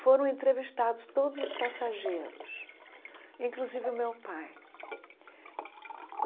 Foram entrevistados todos os passageiros, inclusive o meu pai.